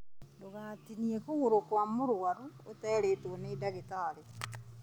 Ndũgatinie kũgũrũ kwa mũrũaru ũterĩtwo nĩ ndagĩtarĩ